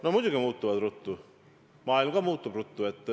No muidugi muutuvad ruttu, ka maailm muutub ruttu.